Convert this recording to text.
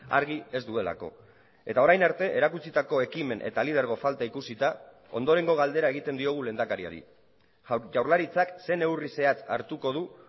argi ez duelako eta orain arte erakutsitako ekimen eta lidergo falta ikusita ondorengo galdera egiten diogu lehendakariari jaurlaritzak ze neurri zehatz hartuko du